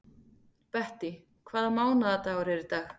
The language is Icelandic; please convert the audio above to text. Bettý, hvaða mánaðardagur er í dag?